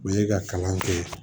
U ye ka kalan kɛ